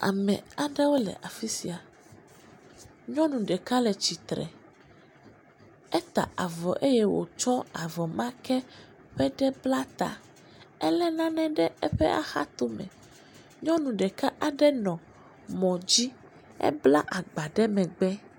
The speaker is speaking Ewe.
ame aɖewo le afisia nyɔnu ɖeka le atsitre eta avɔ eye wotsɔ avɔ ma ke ƒe ɖe bla ta éle nane ɖe eƒe ahatome nyɔnu ɖeka aɖe nɔ mɔdzi, ebla agba ɖe megbe